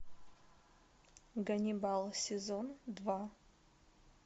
ганнибал сезон два